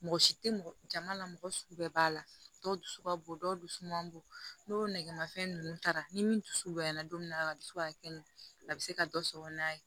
Mɔgɔ si tɛ mɔgɔ jama la mɔgɔ sugu bɛɛ b'a la dɔw dusu ka bon dɔw dusu man bon n'o nɛgɛmafɛn ninnu taara ni min dusu bonya na don min na a bɛ se ka kɛ nu a bɛ se ka dɔ sɔrɔ n'a ye